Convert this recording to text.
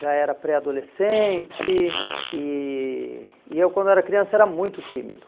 Já era pré-adolescente e e e eu, quando era criança, era muito tímido.